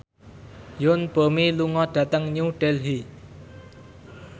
Yoon Bomi lunga dhateng New Delhi